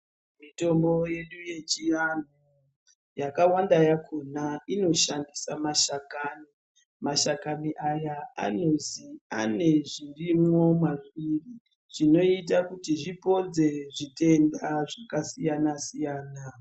Mitombo yedu yechiantu yakawanda yakona inodhandisa mashakani mashakani aya anonzi anezvirimwo mazviri zvnoita kuti zvipodze zvitenda zvakasiyana siyana.